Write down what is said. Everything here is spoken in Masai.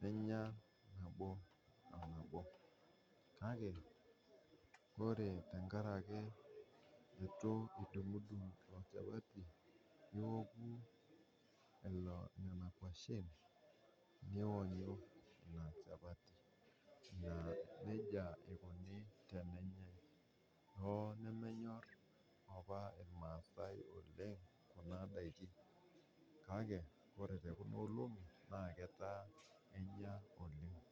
ninya nabo onabo, kake ore tengaraki eitu idung'dung' inchapati, nioku ilo nena nkoshen niwolie ina inchapati naa neja eikoni tenenyai, oo nemenyorr apa ilmaasai oleng' kunadaki, kake ore te kuna olong'i naa ketaa enya oleng'.